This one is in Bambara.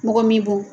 Mɔgɔ min bon